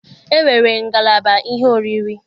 E nwere ngalaba ihe oriri.